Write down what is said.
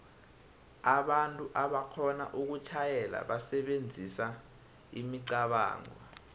kunabantu aboxhona ukutjhayela basebenzisa imicabango